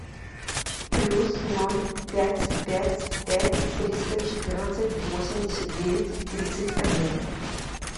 плюс ноль пять пять пять триста четырнадцать восемьдесят девять тридцать один